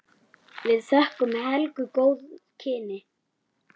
Við þökkum Helgu góð kynni.